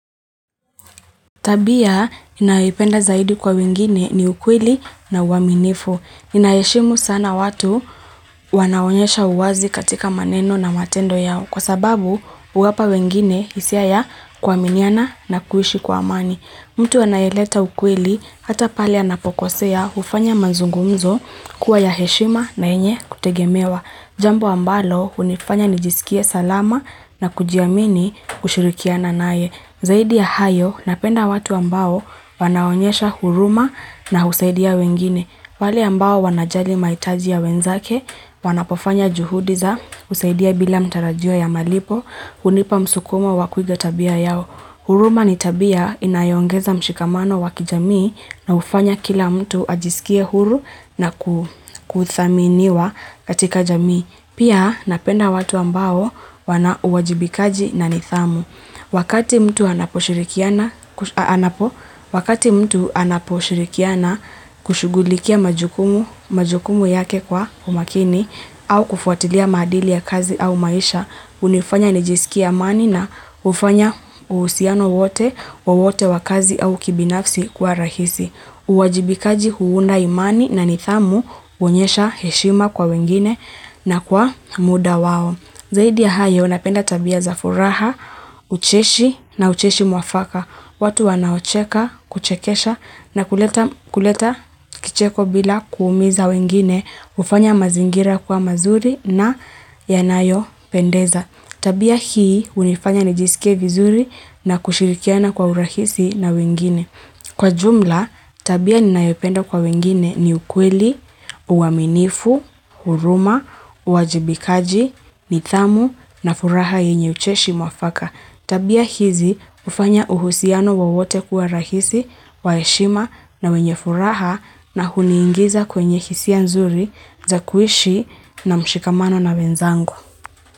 Tabia, ninayoipenda zaidi kwa wengine ni ukweli na uaminifu. Ninaheshimu sana watu wanaonyesha uwazi katika maneno na matendo yao. Kwa sababu, uwapa wengine isia ya kwaminiana na kuishi kwa amani. Mtu anayeleta ukweli, hata pale anapokosea ufanya mazungumzo kuwa ya heshima na yenye kutegemewa. Jambo ambalo, unifanya nijisikie salama na kujiamini kushirikiana naye. Zaidi ya hayo, napenda watu ambao wanaonyesha huruma na husaidia wengine. Wale ambao wanajali maitaji ya wenzake, wanapofanya juhudi za, husaidia bila mtarajio ya malipo, kunipa msukumo wa kuiga tabia yao. Huruma ni tabia inayongeza mshikamano wa kijamii na ufanya kila mtu ajisikie huru na ku kuthaminiwa katika jamii. Pia napenda watu ambao wana uwajibikaji na nithamu. Wakati mtu anaposhirikiana a anapo wakati mtu anaposhirikana kushugulikia majukumu majukumu yake kwa umakini au kufuatilia madili ya kazi au maisha, unifanya nijisikia amani na ufanya usiano wote wa wote wakazi au kibinafsi kuwa rahisi. Uwajibikaji huunda imani na nithamu unyesha heshima kwa wengine na kwa muda wao. Zaidi ya hayo napenda tabia za furaha, ucheshi na ucheshi mwafaka. Watu wanaocheka, kuchekesha na kuleta kuleta kicheko bila kuumiza wengine, ufanya mazingira kuwa mazuri na yanayo pendeza. Tabia hii unifanya nijisike vizuri na kushirikiana kwa urahisi na wengine. Kwa jumla, tabia ninayependa kwa wengine ni ukweli, uwaminifu, huruma, uwajibikaji, nithamu na furaha yenye ucheshi mwafaka. Tabia hizi ufanya uhusiano wowote kuwa rahisi, waheshima na wenye furaha na huniingiza kwenye hisia nzuri za kuishi na mshikamano na wenzangu.